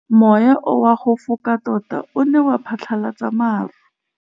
Mowa o wa go foka tota o ne wa phatlalatsa maru.